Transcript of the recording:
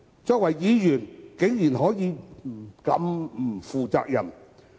作為議員，他們竟然可以如此不負責任。